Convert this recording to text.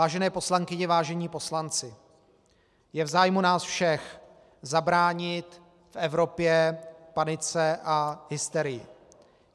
Vážené poslankyně, vážení poslanci, je v zájmu nás všech zabránit v Evropě panice a hysterii.